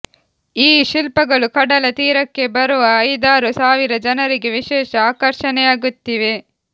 ಈ ಶಿಲ್ಪಗಳು ಕಡಲ ತೀರಕ್ಕೆ ಬರುವ ಐದಾರು ಸಾವಿರ ಜನರಿಗೆ ವಿಶೇಷ ಆಕರ್ಷಣೆಯಾಗುತ್ತಿವೆ